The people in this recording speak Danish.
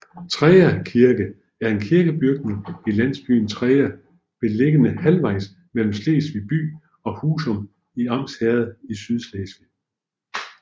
Treja Kirke er en kirkebygning i landsbyen Treja beliggende halvvejs mellem Slesvig by og Husum i Arns Herred i Sydslesvig